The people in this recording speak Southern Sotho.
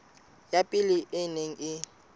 ya pele e neng e